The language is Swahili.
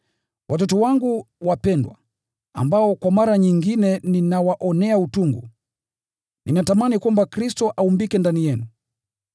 Watoto wangu wapendwa, ambao kwa mara nyingine ninawaonea utungu, ninatamani kwamba Kristo aumbike ndani yenu.